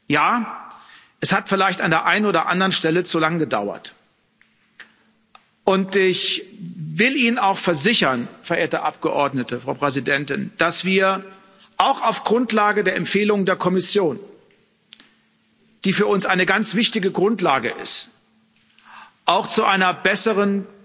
Ja, es hat vielleicht an der einen oder anderen Stelle zu lange gedauert, und ich will Ihnen auch versichern, verehrte Abgeordnete, Frau Präsidentin, dass wir auch auf Grundlage der Empfehlung der Kommission, die für uns eine ganz wichtige Grundlage ist, auch zu einer besseren